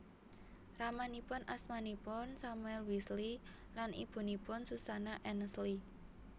Ramanipun asmanipun Samuel Wesley lan ibunipun Susanna Annesley